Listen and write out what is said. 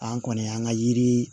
An kɔni y'an ka yiri